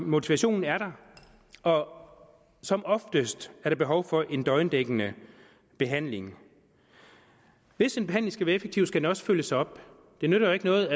motivationen er der og som oftest er der behov for en døgndækkende behandling hvis en behandling skal være effektiv skal den også følges op det nytter jo ikke noget